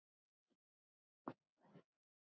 Klæðið ykkur vel.